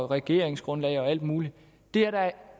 regeringsgrundlag og alt muligt det er da